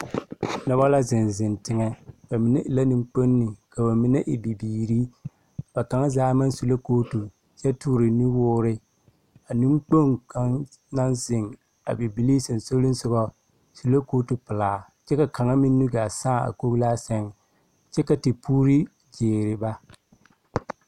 Dɔba la zeŋ zeŋ teŋɛ. Ba mine e la neŋkponni, ka ba mine e bibiiri. Ba kaŋa zaa maŋ su la kootu kyɛ toore nu woore. A neŋkpoŋ kaŋa naŋ zeŋ a Bibilii sasolisogɔ su la kootu pelaa, kyɛ ka kaŋa meŋ nu gaa sãã a koglaa seŋ kyɛ ka tepuurii gyeere ba.